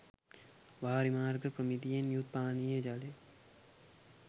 වාරිමාර්ග ප්‍රමිතියෙන් යුත් පානීය ජලය